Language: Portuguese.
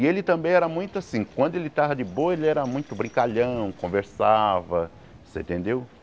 E ele também era muito assim, quando ele estava de boa, ele era muito brincalhão, conversava, você entendeu?